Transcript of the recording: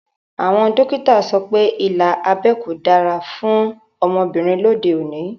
Àwọn dókítà so pé ilà abẹ́ kò dára fún ọmọbìnrin lóde òní